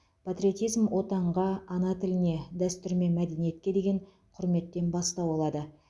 патриотизм отанға ана тіліне дәстүр мен мәдениетке деген құрметтен бастау алады